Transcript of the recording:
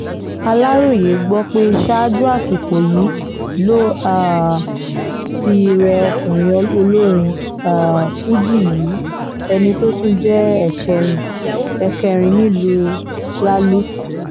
aláròye gbọ́ pé ṣáájú àsìkò yìí ló um ti rẹ ọkùnrin olórin um fuji yìí ẹni tó tún jẹ́ ẹ̀kẹrin ẹ̀kẹrin nílùú lalúp